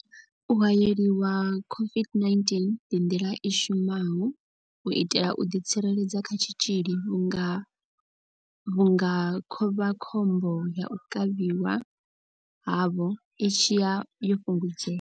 U haeleliwa COVID-19 ndi nḓila i shumaho u itela u ḓi tsireledza kha tshitzhili vhunga vhunga khovhakhombo ya u kavhiwa havho i tshi vha yo fhungudzea.